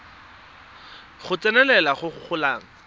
go tsenelela go go golang